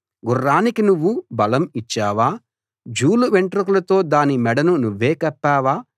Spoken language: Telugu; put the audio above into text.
గుర్రానికి నువ్వు బలం ఇచ్చావా జూలు వెంట్రుకలతో దాని మెడను నువ్వే కప్పావా